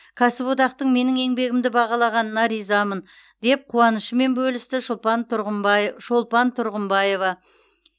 кәсіподақтың менің еңбегімді бағалағанына ризамын деп қуанышымен бөлісті шолпан тұрғымбай шолпан тұрғымбаева